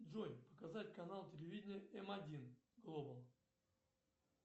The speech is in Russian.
джой показать канал телевидения м один глобал